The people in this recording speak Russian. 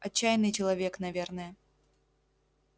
отчаянный человек наверное